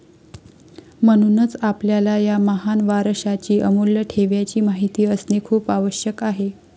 म्हणूनच आपल्याला या महान वारशाची, अमूल्य ठेव्याची माहिती असणे खूप आवश्यक आहे.